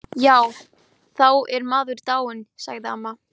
Jafnvel smámunasöm samviska lögmannsins fékk að hvíla í friði.